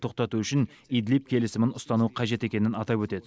тоқтату үшін идлиб келісімін ұстану қажет екенін атап өтеді